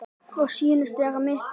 Og sýnist vera mitt gjald.